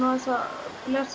aðeins að